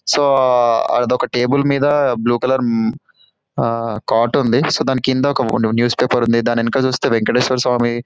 So అదొక table మీద blue colour ఆ కాట్ ఉంది దాని కింద ఒక న్యూస్పేపర్ ఉంది దాని వెనకాల చూస్తే వెంకటేశ్వర స్వామి --.